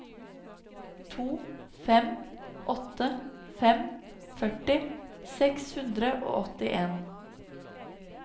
to fem åtte fem førti seks hundre og åttien